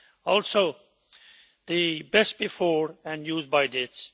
Also the best before' and use by' dates.